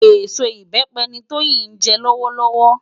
Esó ibèpè ni Toyin jè lòwòlòwò